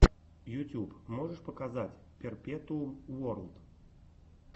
ютюб можешь показать перпетуум уорлд